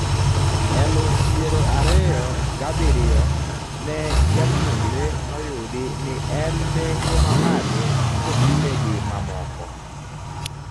Eluf piero ariyo gabiriyio ne japuonjre noyudi ni en nengo mamalo kopime gi mamoko